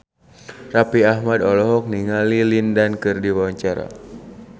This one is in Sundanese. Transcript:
Raffi Ahmad olohok ningali Lin Dan keur diwawancara